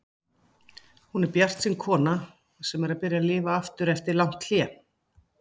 Hún er bjartsýn kona sem er að byrja að lifa aftur eftir langt hlé.